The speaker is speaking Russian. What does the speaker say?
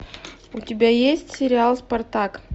у тебя есть сериал спартак